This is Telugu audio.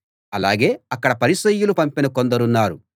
అలాగే అక్కడ పరిసయ్యులు పంపిన కొందరున్నారు